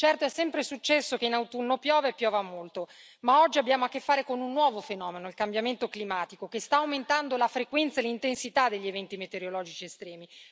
Certo, è sempre successo che in autunno piova e piova molto, ma oggi abbiamo a che fare con un nuovo fenomeno, il cambiamento climatico, che sta aumentando la frequenza e l'intensità degli eventi metereologici estremi.